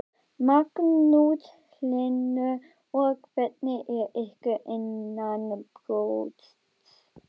Magnús Hlynur: Og hvernig er ykkur innanbrjósts?